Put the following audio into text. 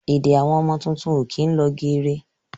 Èdè Àwọn ọmọ tuntun ó kín lọ geere